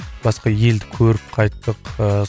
басқа елді көріп қайттық ыыы